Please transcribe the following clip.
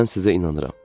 Mən sizə inanıram.